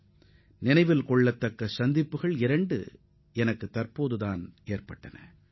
அண்மையில் நடைபெற்ற இரண்டு சந்திப்புகள் எனக்கு மிகவும் மகிழ்ச்சியானவையாக அமைந்தன